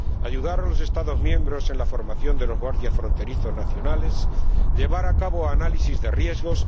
ayudar a los Estados miembros en la formación de los guardias fronterizos nacionales llevar a cabo análisis de riesgos